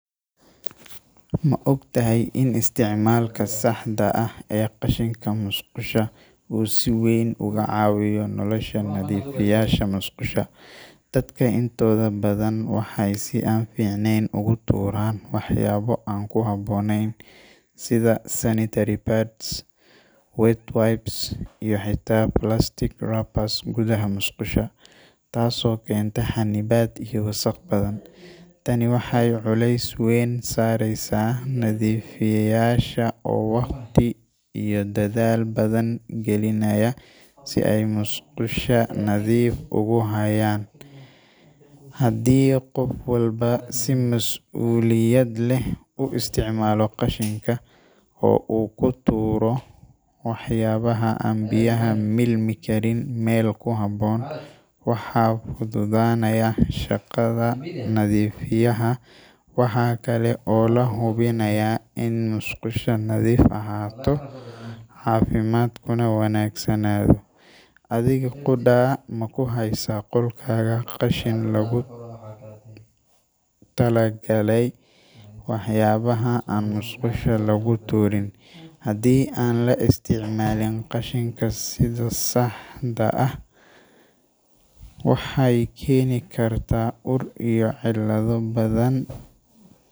Ma ogtahay in isticmaalka saxda ah ee qashinka musqusha uu si weyn uga caawiyo nolosha nadiifiyeyaasha musqusha? Dadka intooda badan waxay si aan fiicnayn ugu tuuraan waxyaabo aan ku habboonayn sida sanitary pads, wet wipes, iyo xitaa plastic wrappers gudaha musqusha, taasoo keenta xannibaad iyo wasakh badan. Tani waxay culays weyn saaraysaa nadiifiyeyaasha oo waqti iyo dadaal badan gelinaya si ay musqusha nadiif ugu hayaan. Haddii qof walba si mas’uuliyad leh u isticmaalo qashinka, oo uu ku tuuro waxyaabaha aan biyaha milmi karin meel ku habboon, waxaa fududaanaya shaqada nadiifiyaha. Waxaa kale oo la hubinayaa in musqusha nadiif ahaato, caafimaadkuna wanaagsanaado. Adiga qudhaa, ma ku haysaa qolkaaga qashin loogu talagalay waxyaabaha aan musqusha lagu tuurin? Haddii aan la isticmaalin qashinka sidha saxda ah, waxay keeni kartaa ur iyo cillado badhan.